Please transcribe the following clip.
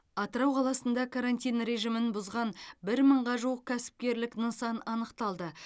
атырау қаласында карантин режимін бұзған бір мыңға жуық кәсіпкерлік нысан анықталды